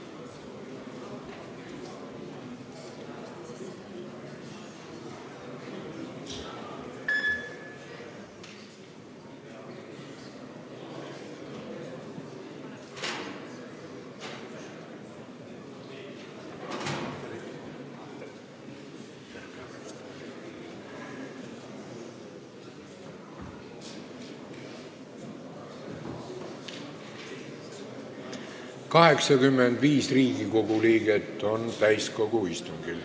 Kohaloleku kontroll Täiskogu istungil on 85 Riigikogu liiget.